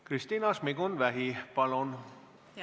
Kristina Šmigun-Vähi, palun!